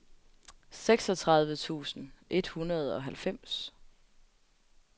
seksogtredive tusind et hundrede og halvfems